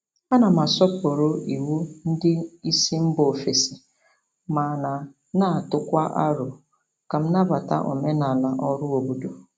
Ana m asọpụrụ iwu ndị isi mba ofesi mana na-atụkwa aro ka m nabata omenala ọrụ obodo.